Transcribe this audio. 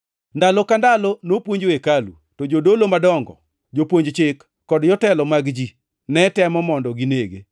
Ndalo ka ndalo nopuonjo e hekalu. To jodolo madongo, jopuonj chik kod jotelo mag ji netemo mondo ginege.